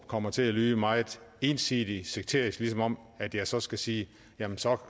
kommer til at lyde meget ensidigt sekterisk som om at jeg så skal sige jamen så